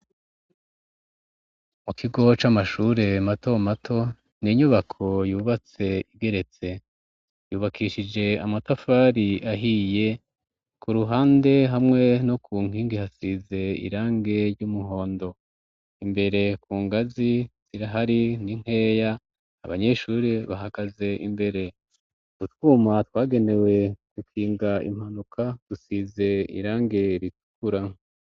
mu kigo c'amashure mato mato ninyubako yubatse igeretse yubakishije amatafari ahiye ku ruhande hamwe no ku nkingi hasize irangi ry'umuhondo imbere ku ngazi sirahari n'inkeya abanyeshuri bahagaze imbere gutwuma twagenewe gukinga impanuka gusize irangi ritukura